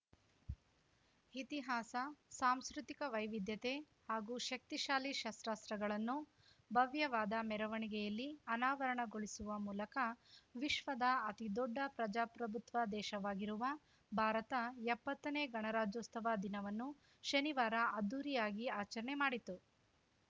ಇತಿಹಾಸ ಸಾಂಸ್ಕೃತಿಕ ವೈವಿಧ್ಯತೆ ಹಾಗೂ ಶಕ್ತಿಶಾಲಿ ಶಸ್ತ್ರಾಸ್ತ್ರಗಳನ್ನು ಭವ್ಯವಾದ ಮೆರವಣಿಗೆಯಲ್ಲಿ ಅನಾವರಣಗೊಳಿಸುವ ಮೂಲಕ ವಿಶ್ವದ ಅತಿದೊಡ್ಡ ಪ್ರಜಾಪ್ರಭುತ್ವ ದೇಶವಾಗಿರುವ ಭಾರತ ಎಪ್ಪತ್ತನೇ ಗಣರಾಜ್ಯೋಸ್ತವ ದಿನವನ್ನು ಶನಿವಾರ ಅದ್ಧೂರಿಯಾಗಿ ಆಚರಣೆ ಮಾಡಿತು